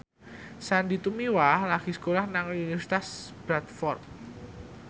Sandy Tumiwa lagi sekolah nang Universitas Bradford